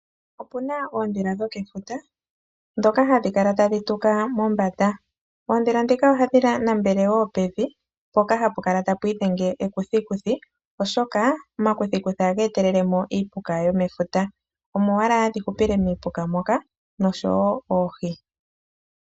Opuna oondhila dho kefuta ndhoka hadhi kala tadhi tuka mombanda. Ondhila dhoka ohadhi nambele woo pevi mpoka hapu kala tapwiidhenge ekuthikuthi oshoka omakuthikuthi ohaga etelele mo iipuka yomefuta. Omo owala hadhi hupile miipuka moka nosho woo oohi.